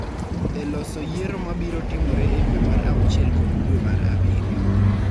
e loso yiero ma biro timore e dwe mar auchiel kod dwe mar abiriyo.